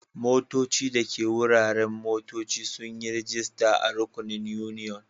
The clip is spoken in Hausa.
Motoci dake a wuraren motocci sun yi rajista da rukunin union.